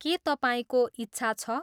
के तपाईँको इच्छा छ?